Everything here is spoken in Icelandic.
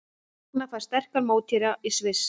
Ragna fær sterkan mótherja í Sviss